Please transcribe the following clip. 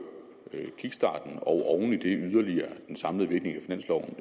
kickstarten og oven i det yderligere den samlede virkning af finansloven